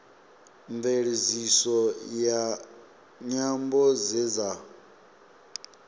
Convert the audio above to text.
mveledziso ya nyambo dze dza